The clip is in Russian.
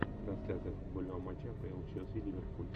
трансляция футбольного матча апл челси ливерпуль